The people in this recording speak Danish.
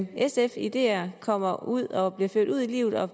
sfs ideer kommer ud og bliver ført ud i livet og